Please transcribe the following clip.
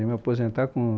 Eu ia me aposentar com